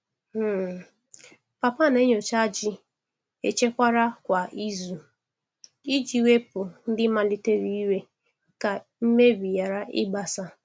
um Papa na-enyocha ji echekwara kwa izu iji wepụ ndị malitere ire ka mmebi ghara ịgbasa.